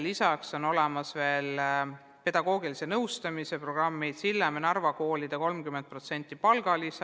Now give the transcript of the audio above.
Lisaks on olemas veel pedagoogilise nõustamise programmid ning Sillamäe ja Narva koolidele on 30% palgalisa.